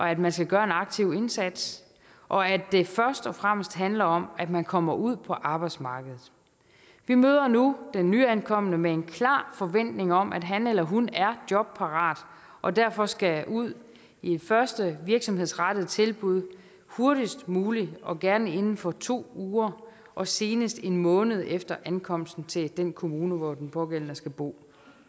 at man skal gøre en aktiv indsats og at det først og fremmest handler om at man kommer ud på arbejdsmarkedet vi møder nu den nyankomne med en klar forventning om at han eller hun er jobparat og derfor skal ud i det første virksomhedsrettede tilbud hurtigst muligt og gerne inden for to uger og senest en måned efter ankomsten til den kommune hvor den pågældende skal bo